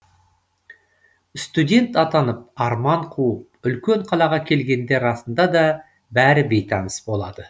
студент атанып арман қуып үлкен қалаға келгенде расында да бәрі бейтаныс болады